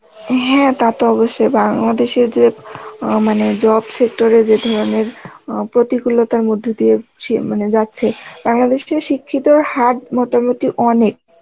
হ্যাঁ তা তো অবশ্যই বাংলাদেশে যে অ্যাঁ মানে job sector এ যে ধরনের অ্যাঁ প্রতিকূলতার মধ্যে দিয়ে সে মানে যাচ্ছে, বাংলাদেশটাই শিক্ষিতর হার মোটামুটি অনেক